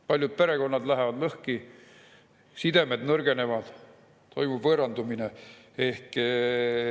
Paljud perekonnad lähevad lõhki, sidemed nõrgenevad, toimub võõrandumine.